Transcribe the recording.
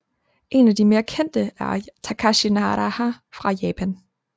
En af de mere kendte er Takashi Naraha fra Japan